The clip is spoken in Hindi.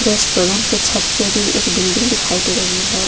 रेस्टोरेंट के छत पे भी एक बिल्डिंग दिखाई दे रही है।